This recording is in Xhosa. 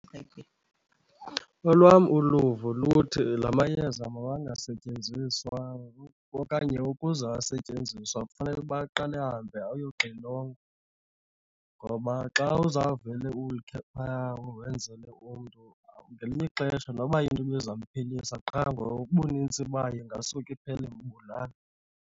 Olwam uluvo luthi la mayeza mawangasetyenziswa okanye ukuze asetyenziswe kufuneka uba aqale ahambe ayoxilongwa. Ngoba xa uzawuvele ulikhe phaa wenzele umntu, ngelinye ixesha noba into ibizamphilisa qha ngobunintsi bayo ingasuke iphele imbulala.